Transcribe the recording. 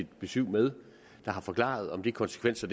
besyv med og forklaret om de konsekvenser